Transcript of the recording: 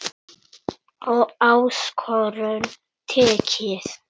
Áskorun tekið.